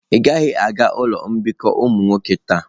Ị gaghị aga ụlọ mbikọ ụmụ nwoke taa.